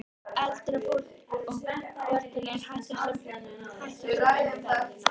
Án Stefáns hefði hann gengið af göflunum.